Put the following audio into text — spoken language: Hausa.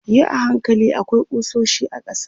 yi a hankali akwai kusoshi a ƙasa